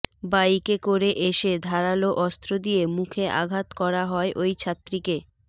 বাইকে করে এসে ধারালো অস্ত্র দিয়ে মুখে আঘাত করা হয় ওই ছাত্রীকে